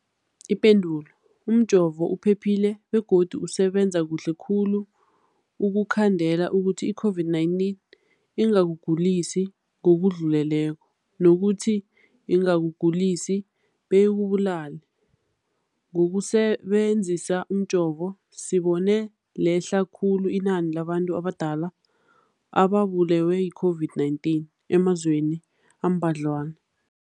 Ipendulo, umjovo uphephile begodu usebenza kuhle khulu ukukhandela ukuthi i-COVID-19 ingakugulisi ngokudluleleko, nokuthi ingakugulisi beyikubulale. Ngokusebe nzisa umjovo, sibone lehle khulu inani labantu abadala ababulewe yi-COVID-19 emazweni ambadlwana.